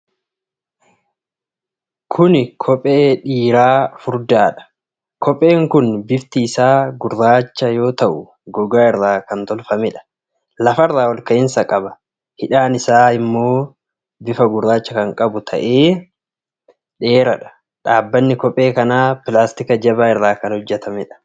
Kuni Kophee dhiiraa furdaadha. Kopheen kun bifti isaa gurraacha yoo ta'u gogaa irraa kan tolfameedha. Lafarraa olka'iinsa qaba. Hidhaan isaa ammoo bifa gurraacha kan qabu ta'ee dheeraadha. Dhaabbanni kophee kanaa pilaastika jabaa irraa kan hojjatameedha.